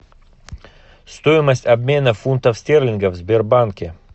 стоимость обмена фунтов стерлингов в сбербанке